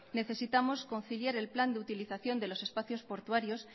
necesitamos conciliar el plan de utilización de los espacios portuarios